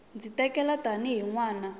ndzi tikela tanihi n wana